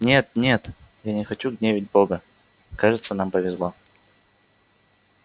нет-нет я не хочу гневить бога кажется нам повезло